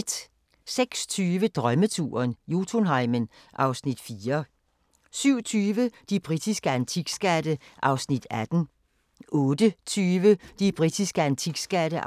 06:20: Drømmeturen - Jotunheimen (Afs. 4) 07:20: De britiske antikskatte (18:25) 08:20: De britiske antikskatte (19:25)